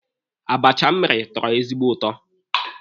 Abacha m mere tọrọ ezigbo ụtọ.